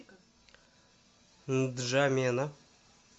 нджамена